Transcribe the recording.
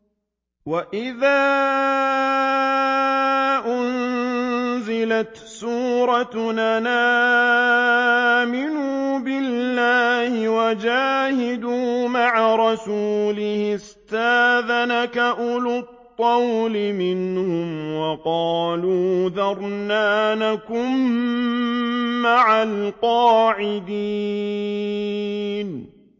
وَإِذَا أُنزِلَتْ سُورَةٌ أَنْ آمِنُوا بِاللَّهِ وَجَاهِدُوا مَعَ رَسُولِهِ اسْتَأْذَنَكَ أُولُو الطَّوْلِ مِنْهُمْ وَقَالُوا ذَرْنَا نَكُن مَّعَ الْقَاعِدِينَ